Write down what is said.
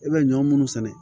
E bɛ ɲɔ munnu sɛnɛ